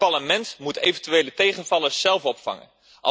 Het Parlement moet eventuele tegenvallers zelf opvangen.